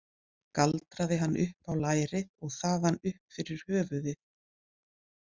Galdraði hann upp á lærið og þaðan upp fyrir höfuðið.